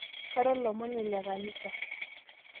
kara olomoni le kanisa